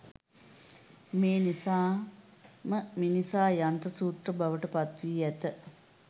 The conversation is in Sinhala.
මේ නිසාම මිනිසා යන්ත්‍ර සූත්‍ර බවට පත් වී ඇත.